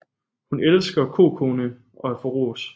Hun elsker Kokone og at få ros